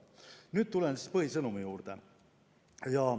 Nüüd tulen põhisõnumi juurde.